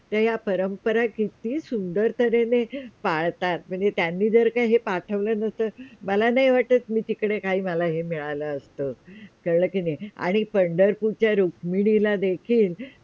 ते हे परंपरा किती सुंदर तऱ्हेने पाळतात म्हणजे त्यांनी जर का हे पाठवले नस्त तर मला नाय वाटत मी तिकडे काय हे मला मिळालं असतं कळलं का नाही? आणि पंढरपूरच्या रुक्मिणीला ला देखील